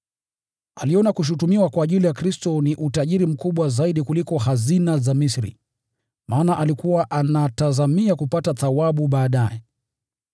Aliona kushutumiwa kwa ajili ya Kristo ni utajiri mkubwa zaidi kuliko hazina za Misri, maana alikuwa anatazamia kupata thawabu baadaye.